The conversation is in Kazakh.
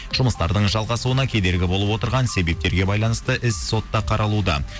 жұмыстардың жалғасуына кедергі болып отырған себептерге байланысты іс сотта қаралуда